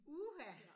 Uha!